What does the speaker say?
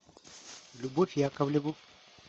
любовь яковлеву